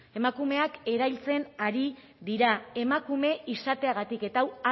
emakumeak erailtzen ari dira emakume izateagatik eta hau